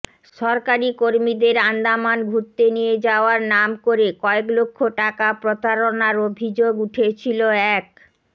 সরকারি কর্মীদের আন্দামান ঘুরতে নিয়ে যাওয়ার নাম করে কয়েক লক্ষ টাকা প্রতারণার অভিযোগ উঠেছিল এক